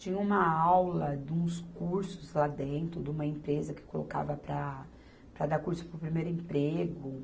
Tinha uma aula de uns cursos lá dentro, de uma empresa que colocava para, para dar curso para o primeiro emprego.